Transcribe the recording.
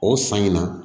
O san in na